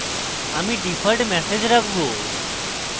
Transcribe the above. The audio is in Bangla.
আমি ডিফল্ট ম্যাসেজ রাখবো